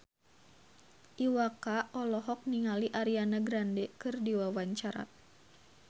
Iwa K olohok ningali Ariana Grande keur diwawancara